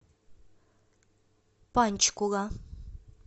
панчкула